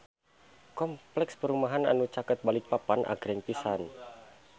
Kompleks perumahan anu caket Balikpapan agreng pisan